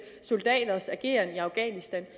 soldaters ageren i afghanistan